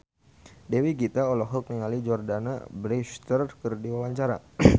Dewi Gita olohok ningali Jordana Brewster keur diwawancara